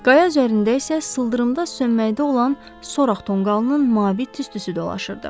Qaya üzərində isə sıldırımda sönməkdə olan soraq tonqalının mavi tüstüsü dolaşırdı.